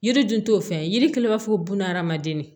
Yiri dun t'o fɛn ye yiri kelen b'a fɔ ko buna hadamaden